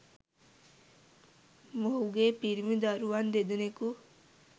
මොහුගේ පිරිමි දරුවන් දෙදෙනකු